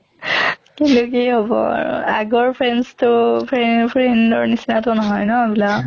হʼলে কি হʼব আৰু আগৰ friends তো ফ্ৰে friend ৰ নিছিনা তো নহয় ন এইবিলাক